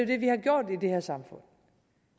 det vi har gjort i det her samfund